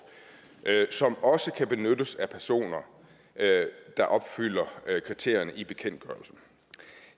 som også kan benyttes af personer der opfylder kriterierne i bekendtgørelsen